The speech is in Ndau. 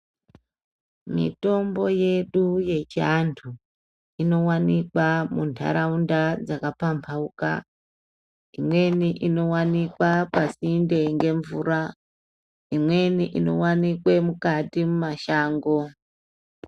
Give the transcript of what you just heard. Mitombo yedu yechiantu inowanikwa muntaraunda dzakapambauka imweni inowanikwa pasinde ngemvura , imweni inowanikwe mukati muamashango.